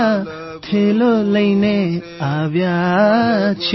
કુંભાર દાદા થેલો લઇને આવ્યા છે